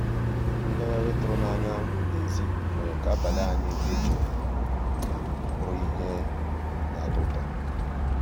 ngàghàrị́ tụ̀rụ̀ n'ànyá n'èzí mérè ká àbàlí ànyị́ dị́ jụ́ụ́ bụ́rụ́ íhé ná-àtọ́ ụtọ́.